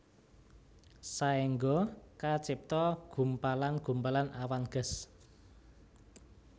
Saéngga kacipta gumpalan gumpalan awan gas